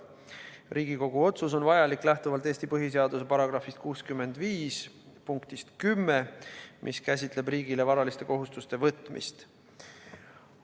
Riigikogu otsus on vajalik lähtuvalt Eesti põhiseaduse § 65 punktist 10, mis käsitleb riigile varaliste kohustuste võtmist.